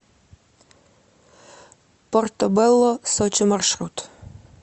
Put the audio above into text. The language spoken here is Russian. портобелло сочи маршрут